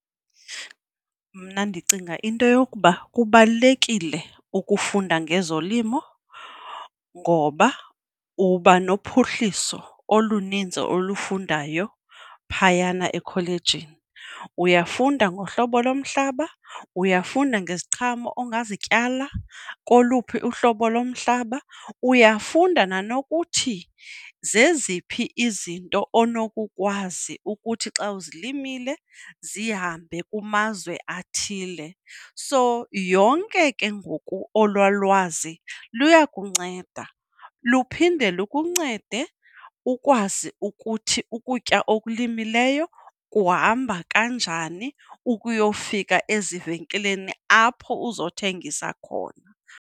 Mna ndicinga into yokuba kubalulekile ukufunda ngezolimo ngoba uba nophuhliso oluninzi olufundayo phayana ekholejini. Uyafunda ngohlobo lomhlaba, uyafunda ngeziqhamo ongazityala koluphi uhlobo lomhlaba, uyafunda nanokuthi zeziphi izinto onokukwazi ukuthi xa uzilimile zihambe kumazwe athile. So yonke ke ngoku olwaa lwazi luyakunceda. Luphinde lukuncede ukwazi ukuthi ukutya okulimileyo kuhamba kanjani ukuyofika ezivenkileni apho uzothengisa khona.